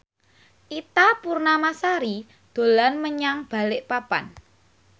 Ita Purnamasari dolan menyang Balikpapan